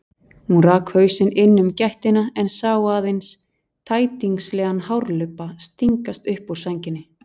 Hún rak hausinn inn um gættina en sá aðeins tætingslegan hárlubba stingast upp úr sænginni.